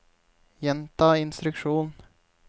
gjenta instruksjon